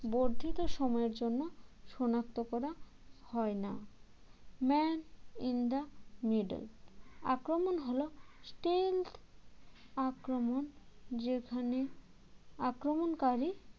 বর্ধিত সময়ের জন্য সনাক্ত করা হয় না man in the middle আক্রমণ হল stealth আক্রমণ যেখানে আক্রমণকারী